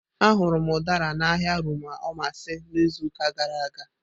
Ahụrụ m Udara na ahịa Rumuomasi n'izuụka gara aga.